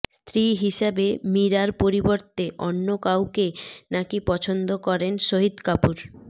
স্ত্রী হিসেবে মীরার পরিবর্তে অন্য কাউকে নাকি পছন্দ করেন শহীদ কাপুর